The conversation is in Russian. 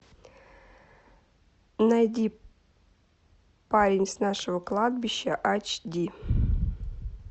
найди парень с нашего кладбища ач ди